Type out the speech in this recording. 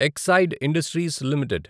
Exide Industries limited